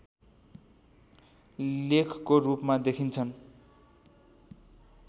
लेखको रूपमा देखिन्छन्